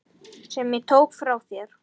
Sem ég tók frá þér.